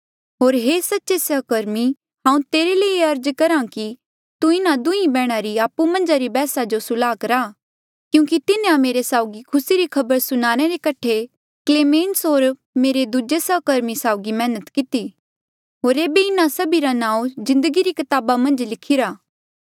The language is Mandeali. होर हे सच्चे सहकर्मी हांऊँ तेरे ले ये अर्ज करहा कि तू इन्हा दुहीं बैहणा री आपु मन्झा री बैहसा जो सुल्हा करा क्यूंकि तिन्हें मेरे साउगी खुसी री खबर सुनाणे रे कठे क्लेमेन्स होर मेरे दूजे सहकर्मी साउगी मैहनत किती होर ऐबे इन्हा सभी रा नांऊँ जिन्दगी री कताबा मन्झ लिखिरा